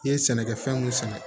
I ye sɛnɛkɛ fɛn mun sɛnɛ